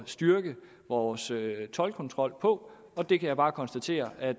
styrke vores toldkontrol på og det kan jeg bare konstatere at